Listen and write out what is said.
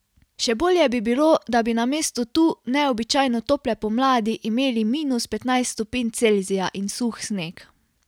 Še bolje bi bilo, da bi namesto tu neobičajno tople pomladi imeli minus petnajst stopinj Celzija in suh sneg.